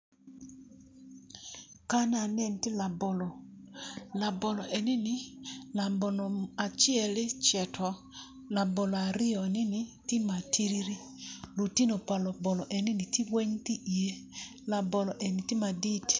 Kan aneno tye labolo labolo enini labolo aceli ecito labolo aryoneni tye matidi lutino pa labolo ni weng tye iye labolo eni weng tye madit.